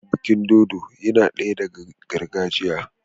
Bikin dodo yinadaya daga gargajiya